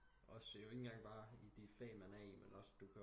Også det er jo ikke bare i de fag man er i men også du